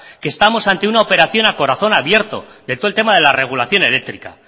que estamos ante una operación a corazón abierto de todo el tema de la regulación eléctrica